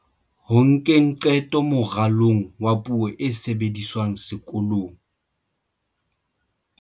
Ho nkeng qeto moralong wa puo e sebediswang sekolong.